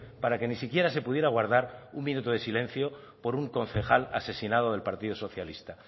para que ni siquiera se pudiera guardar un minuto de silencio por un concejal asesinado del partido socialista